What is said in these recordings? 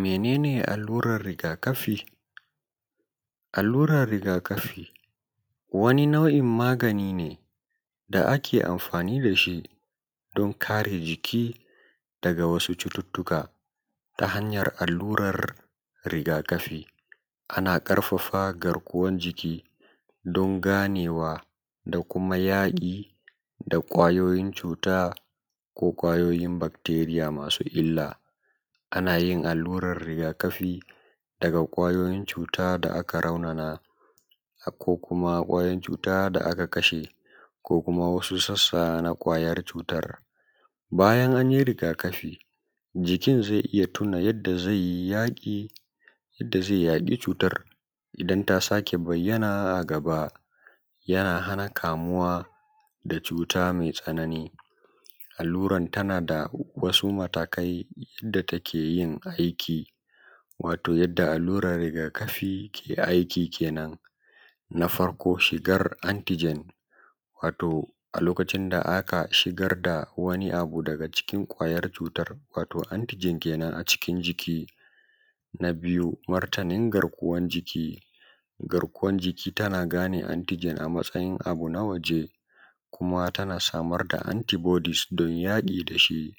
menene allurar rigakafi wani nau’in magani ne da ake amfani dashi domin kare jiki daga wasu cututtuka ta hanyar allurar rigakafi tana ƙarfafa garkuwan jiki don ganewa da kuma yaƙi da kwayoyin cuta ko kwayoyin bacteria masu illa ana yin allurar rigakafi daga kwayoyin cuta da aka raunana ko kuma kwayoyin cuta da aka kashe ko kuma wasu sassa na kwayar cutar bayan an yi rigakafi jikin zai tuna yanda zai yaƙi cutar idan ta saƙe bayyana a gaba yana hana kamuwa da cuta mai tsanani allurar tana da wasu matakai da take yin aiki wato yanda allurar rigakafi ke aiki kenan na farko shigar antigen wato a lokacin da aka shigar da wani abu daga cikin kwayar cutar wato antigen kenan a cikin jiki na biyu martanin garkuwan jiki garkuwan jiki tana gane antigen a matsayin abu na waje kuma tana samar da antibodies don yaƙi da shi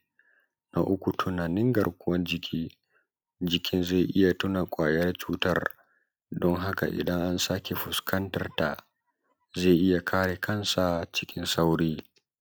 na uku tunanin garkuwan jiki jikin zai iya tuna ƙwayar cutar don haka idan an sake fuskantar ta zai iya kare kan sa cikin sauki